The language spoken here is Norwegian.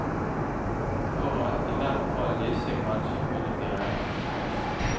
For at i hvert fall disse kanskje kunne bli reddet.